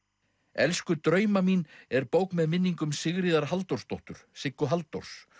elsku drauma mín er bók með minningum Sigríðar Halldórsdóttur Siggu Halldórs